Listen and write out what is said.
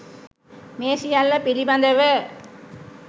මේ සියල්ල පිළිබඳව